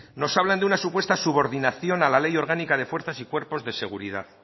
nos hablan de una supuesta subordinación a la ley orgánica de fuerzas y cuerpos de seguridad